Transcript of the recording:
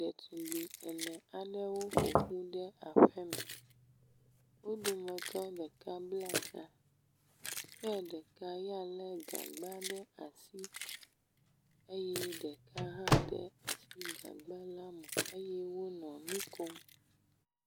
Ɖetugbi ene aɖewo ƒoƒu ɖe aƒeme. Wo dometɔ ɖeka bla ta ye ɖeka ya lé gagba ɖe asi eye ɖeka hã de asi gagba la me eye wonɔ nu kom.